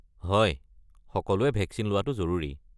হয়, সকলোৱে ভেকচিন লোৱাটো জৰুৰী।